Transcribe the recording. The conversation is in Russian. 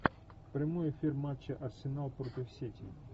прямой эфир матча арсенал против сити